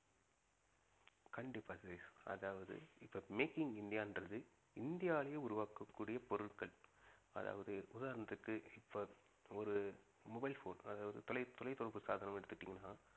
கண்டிப்பா சதீஷ் அதாவது இப்ப make in இந்தியான்றது இந்தியாவிலேயே உருவாக்ககூடிய பொருட்கள் அதாவது உதாரணத்திற்கு இப்ப ஒரு mobile phone அதாவது தொலை~ தொலைத்தொடர்பு சாதனம் எடுத்துகிட்டிங்கனா